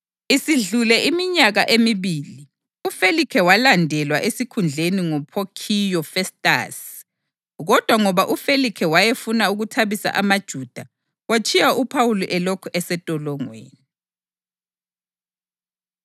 Isidlule iminyaka emibili, uFelikhe walandelwa esikhundleni nguPhokhiyu Festasi, kodwa ngoba uFelikhe wayefuna ukuthabisa amaJuda, watshiya uPhawuli elokhu esentolongweni.